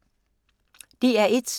DR1